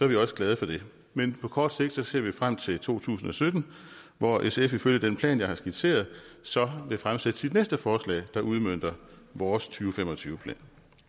vi også glade for det men på kort sigt ser vi frem til to tusind og sytten hvor sf ifølge den plan jeg har skitseret så vil fremsætte sit næste forslag der udmønter vores to fem og tyve plan